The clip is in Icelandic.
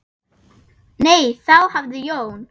Nei, þá hafði Jón